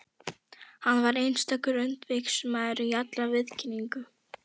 Hann var einstakur öndvegismaður í allri viðkynningu.